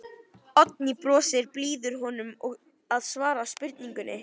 Oddný brosir, býður honum að svara spurningunni.